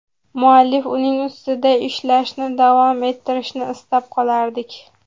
Muallif uning ustida ishlashni davom ettirishini istab qolardik.